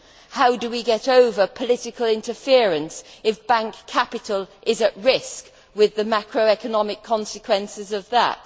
How do we get over political interference if bank capital is at risk with the macro economic consequences of that?